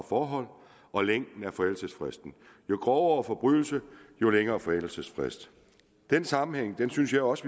forhold og længden af forældelsesfristen jo grovere forbrydelse jo længere forældelsesfrist den sammenhæng synes jeg også